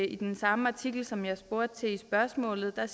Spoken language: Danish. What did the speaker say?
i den samme artikel som jeg spurgte til i spørgsmålet at